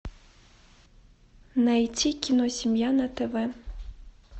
найти киносемья на тв